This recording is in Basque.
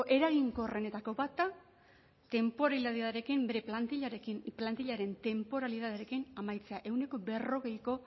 eraginkorrenetako bat da tenporalitatearekin bere plantillaren tenporalitatearekin amaitzea ehuneko berrogeita